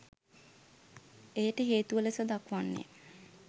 එයට හේතුව ලෙස දක්වන්නේ